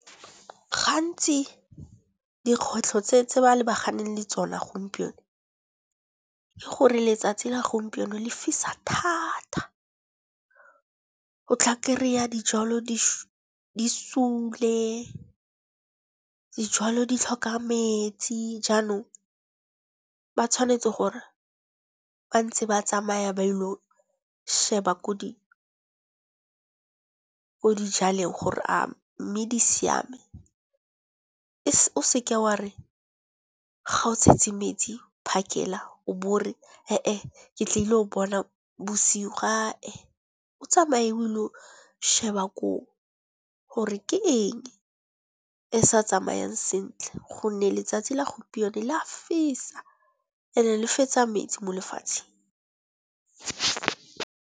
Gantsi dikgwetlho tse ba lebaganeng le tsona gompieno, ke gore letsatsi la gompieno le fisa thata. O tla kry-a dijalo di sule, dijalo di tlhoka metsi. Jaanong ba tshwanetse gore ba ntse ba tsamaya ba ilo sheba ko di dijaleng gore a mme di siame. O seke wa re ga o tshetse metsi phakela o bo ee ore ke tla ile o bona busigo ee. O tsamaye o ilo sheba koo, gore ke eng e sa tsamayang sentle gonne letsatsi la gompieno la fisa and-e le fetsa metsi mo lefatsheng.